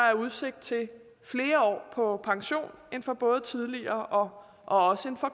er udsigt til flere år på pension end for både tidligere og